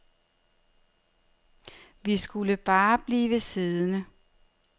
Vi skulle bare blive siddende.